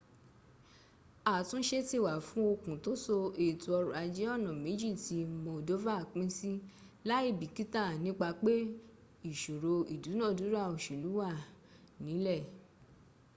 àtúnṣe ti wà fún okùn tó so ètò ọrọ̀ ajé ọnà méjì tí moldova pín sí láìbìkítà nípa pé ìṣòro ìdúnàdúrà òṣèlú wà nílẹ̀